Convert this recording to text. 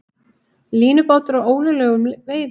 Línubátur á ólöglegum veiðum